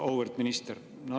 Auväärt minister!